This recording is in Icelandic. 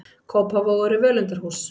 Kópavogur er völundarhús.